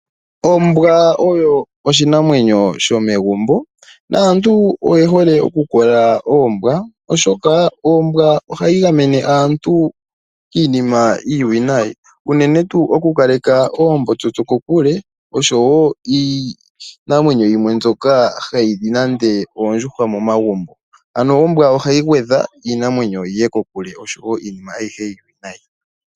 Ombwa oyo oshinamwenyo shomegumbo, naantu oye hole oku kola Oombwa. Oshoka Ombwa ohayi gamene aantu kiinima iiwinayi unene tuu oku kaleka oombotsotso kokule osho wo iinamwenyo yimwe mbyoka hayi li nande Oondjuhwa momagumbo. Ano Ombwa ohayi gwedha iinamwenyo yiye kokule osho wo iinima ayihe iiwinayi.